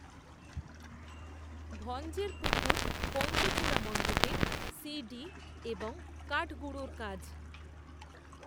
ভঞ্জের পুকুর পঞ্চচূড়া মণ্ডপে সি ডি এবং কাঠগুঁড়োর কাজ